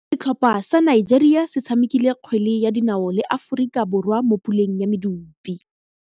Setlhopha sa Nigeria se tshamekile kgwele ya dinaô le Aforika Borwa mo puleng ya medupe.